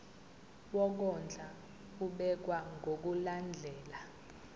wokondla ubekwa ngokulandlela